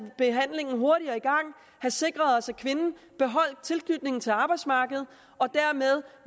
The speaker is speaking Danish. behandling hurtigere i gang og have sikret os at kvinden beholdt tilknytningen til arbejdsmarkedet og dermed